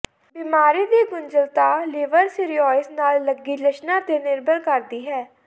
ਬਿਮਾਰੀ ਦੀ ਗੁੰਝਲੱਤਤਾ ਲਿਵਰ ਸਿਰੀਓਸਿਸ ਨਾਲ ਲੱਗੀ ਲੱਛਣਾਂ ਤੇ ਨਿਰਭਰ ਕਰਦੀ ਹੈ